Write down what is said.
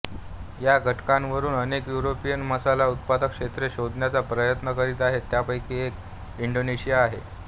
या घटकांवरून अनेक युरोपियन मसाला उत्पादक क्षेत्रे शोधण्याचा प्रयत्न करीत आहेत त्यापैकी एक इंडोनेशिया आहे